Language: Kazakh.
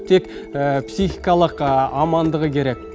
тек психикалық амандығы керек